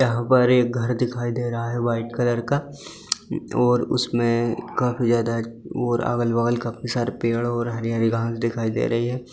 यहां पर एक घर दिखाई दे रहा है व्हाइट कलर का और उसमें काफी ज्यादा और अगल-बगल काफी सारे पेड़ और हरी-हरी घास दिखाई दे रही है।